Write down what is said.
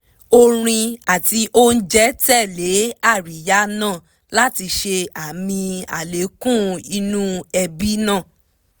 orin àti oúnjẹ tẹ̀lé àríyá náà láti ṣe àmì àlékún inú ẹbí náà